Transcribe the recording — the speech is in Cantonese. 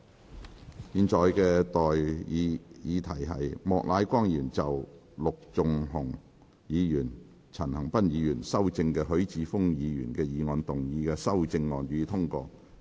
我現在向各位提出的待議議題是：莫乃光議員就經陸頌雄議員及陳恒鑌議員修正的許智峯議員議案動議的修正案，予以通過。